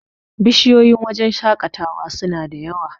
bishiyoyin wajen shaƙatawa suna da yawa